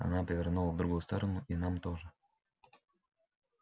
она повернула в другую сторону и нам тоже